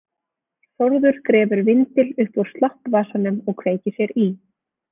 Þórður grefur vindil upp úr sloppvasanum og kveikir sér í.